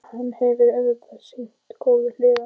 Hann hefur auðvitað sínar góðu hliðar.